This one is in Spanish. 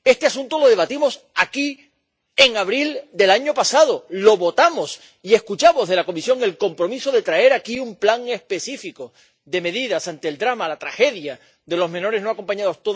Este asunto lo debatimos aquí en abril del año pasado, lo votamos y escuchamos de la Comisión el compromiso de traer aquí un plan específico de medidas ante el drama, la tragedia de los menores no acompañados.